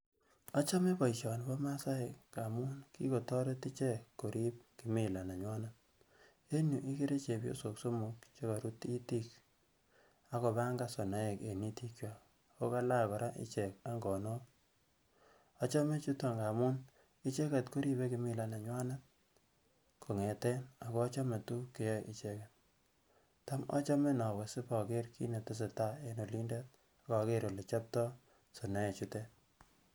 Ochome boishoni bo masaek amun kikotoret ichek korib kimila nenywanet, en yuu igere chebyosok somok che korut itik ak kopangan sonoekyawak en itik oo kalach ichek koraa angonok, achome chuton angamun icheket koribe kimila nenywanet kongeten ako achome tugug che yoe icheget tom ochome inowe si iboker kit netesetai en olidet ak ogere ole chobto sonoee chutet